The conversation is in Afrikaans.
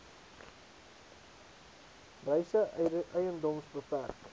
reise edms bpk